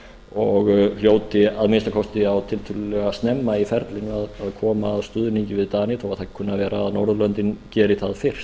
og hljóti að minnsta kosti tiltölulega snemma í ferlinu að koma á stuðningi við dani þó það kunni að vera að norðurlöndin geri það fyrst